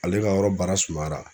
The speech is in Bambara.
Ale ka yɔrɔ baara sumayara